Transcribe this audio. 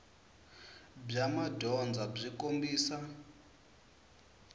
bya madyondza byi kombisa